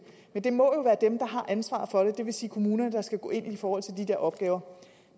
men det må jo være dem der har ansvaret for det det vil sige kommunerne der skal gå ind i forhold til de der opgaver